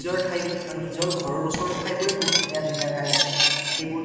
নিজৰ ঠাই খন বা নিজৰ ঘৰ ৰ ওচৰৰ ঠাইবোৰেই বহুত ধুনীয়া ধুনীয়া আছে । এইবোৰ ঠাই